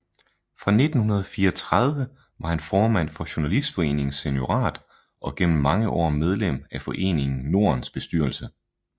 Fra 1934 var han formand for Journalistforeningens seniorat og gennem mange år medlem af Foreningen Nordens bestyrelse